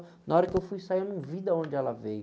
Na hora que eu fui sair, eu não vi de onde ela veio.